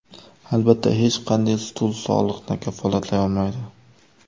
Albatta, hech qanday stul sog‘liqni kafolatlay olmaydi.